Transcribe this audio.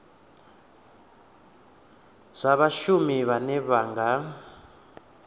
zwa vhashumi vhane vha nga